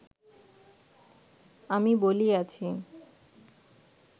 আমি বলিয়াছি